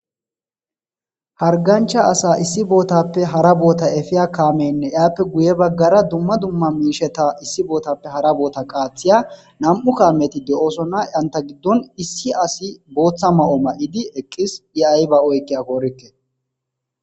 hargancha asa issi bootappe hara boota efiya kaamenne iaappe guye baggara dumma dumma miisheta issi bootappe hara boota qaathiya nam7u kaameti de7osona yanta giddon issi asi booththa ma7o ma7idi eqqis dhi ay ba oykke a koorikke